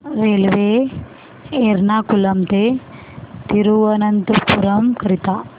railway Ernakulam ते थिरुवनंतपुरम करीता